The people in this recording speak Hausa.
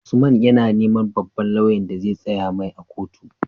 Usman yAna neman babban loyan da zai tsaya mai a kotu